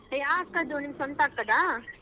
ಅದು ಯಾವ್ ಅಕ್ಕಾದು ನಿಮ್ ಸ್ವಂತ ಅಕ್ಕದಾ?